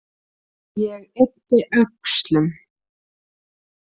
Ég yppti öxlum.